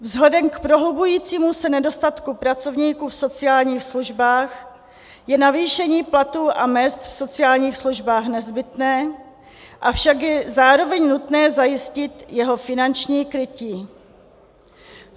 Vzhledem k prohlubujícímu se nedostatku pracovníků v sociálních službách je navýšení platů a mezd v sociálních službách nezbytné, avšak je zároveň nutné zajistit jeho finanční krytí.